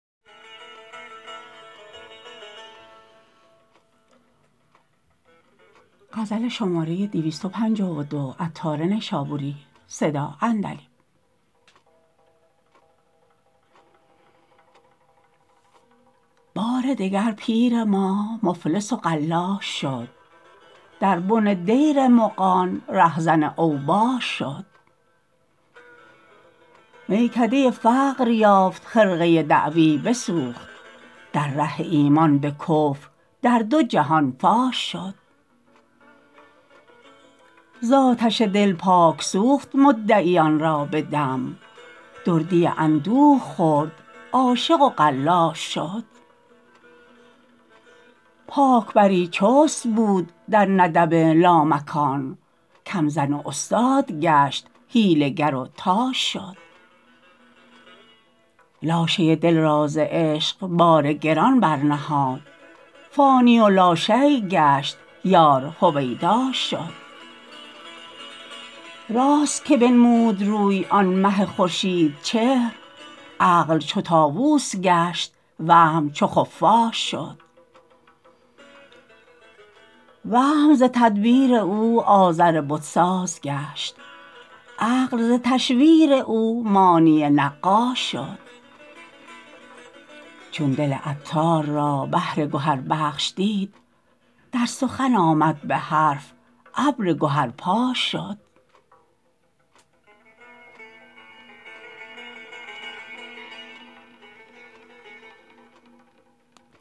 بار دگر پیر ما مفلس و قلاش شد در بن دیر مغان ره زن اوباش شد میکده فقر یافت خرقه دعوی بسوخت در ره ایمان به کفر در دو جهان فاش شد زآتش دل پاک سوخت مدعیان را به دم دردی اندوه خورد عاشق و قلاش شد پاک بری چست بود در ندب لامکان کم زن و استاد گشت حیله گر و طاش شد لاشه دل را ز عشق بار گران برنهاد فانی و لاشییء گشت یار هویداش شد راست که بنمود روی آن مه خورشید چهر عقل چو طاوس گشت وهم چو خفاش شد وهم ز تدبیر او آزر بت ساز گشت عقل ز تشویر او مانی نقاش شد چون دل عطار را بحر گهربخش دید در سخن آمد به حرف ابر گهرپاش شد